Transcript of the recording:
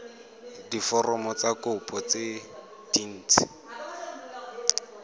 diforomo tsa kopo tse dint